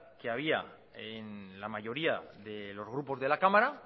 que había en la mayoría de los grupos de la cámara